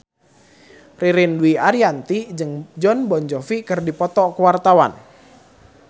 Ririn Dwi Ariyanti jeung Jon Bon Jovi keur dipoto ku wartawan